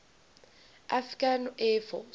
afghan air force